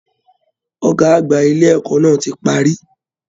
Ọgá àgbà ilé ẹ̀kọ́ náà tí párí.